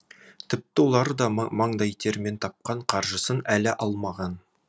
тіпті олар да маңдай терімен тапқан қаржысын әлі алмаған